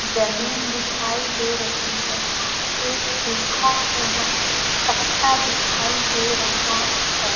जमीन दिखाई दे रही है एक सूखा हुआ पत्ता दिखाई दे रहा है।